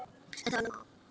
En það var nóg.